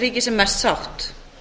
ríki sem mest sátt